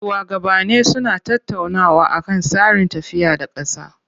Shuwagabanni suna tattaunawa akan tsarin tafiya da ƙasa.